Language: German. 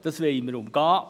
Das wollen wir umgehen.